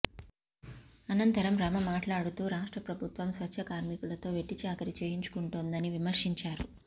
అనంతరం రమ మాట్లాడుతూ రాష్ట్ర ప్రభుత్వం స్వచ్ఛ కార్మికులతో వెట్టిచాకిరీ చేయించుకుంటోందని విమర్శించారు